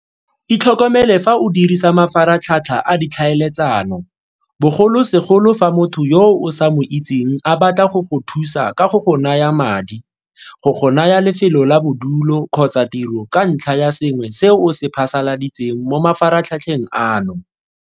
Itlhokomele fa o dirisa mafaratlhatlha a ditlhaeletsano, bogolosegolo fa motho yo o sa mo itseng a batla go go thusa ka go go naya madi, go go naya lefelo la bodulo kgotsa tiro ka ntlha ya sengwe se o se phasaladitseng mo mafaratlhatlheng ano.